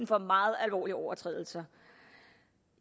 for meget alvorlige overtrædelser